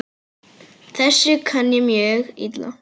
Þessu kann ég mjög illa.